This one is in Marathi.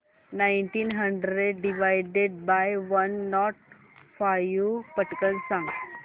nineteen hundred divided by one nought five पटकन सांग